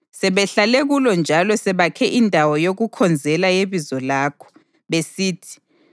Sebehlale kulo njalo sebakhe indawo yokukhonzela yeBizo lakho, besithi,